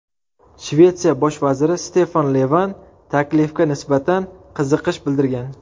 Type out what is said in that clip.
Shvetsiya bosh vaziri Stefan Levan taklifga nisbatan qiziqish bildirgan.